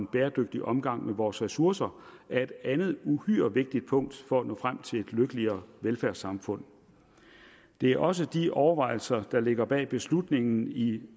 bæredygtig omgang med vores ressourcer er et andet uhyre vigtigt punkt for at nå frem til et lykkeligere velfærdssamfund det er også de overvejelser der ligger bag beslutningen i